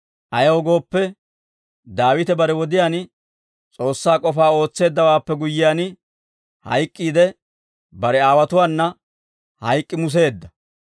Ayaw gooppe, Daawite bare wodiyaan S'oossaa k'ofaa ootseeddawaappe guyyiyaan hayk'k'iide, bare aawotuwaana hayk'k'i museedda.